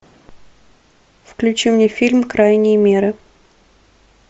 включи мне фильм крайние меры